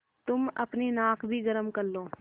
तुम अपनी नाक भी गरम कर लो